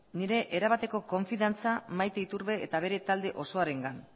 nire erabateko konfidantza maite iturbe eta bere talde osoarengan